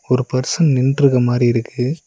ஒரு பர்சன் நின்ட்ருக்க மாரி இருக்கு.